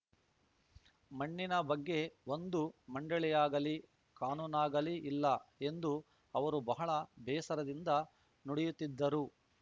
ಮಣ್ಣಿನ ಬಗ್ಗೆ ಒಂದು ಮಂಡಳಿಯಾಗಲೀ ಕಾನೂನಾಗಲೀ ಇಲ್ಲ ಎಂದು ಅವರು ಬಹಳ ಬೇಸರದಿಂದ ನುಡಿಯುತ್ತಿದ್ದರು